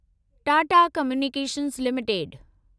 Tata Communications limited